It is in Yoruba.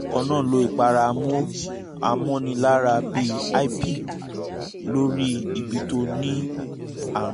kan náà lo ìpara mo amọ́niláwọ̀ bíi hypig lórí ibi tó ní àrùn